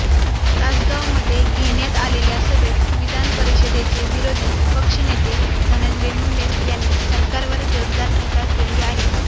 तासगावमध्ये घेण्यात आलेल्या सभेत विधानपरिषदेचे विरोधी पक्षनेते धनंजय मुंडे यांनी सरकारवर जोरदार टीका केली आहे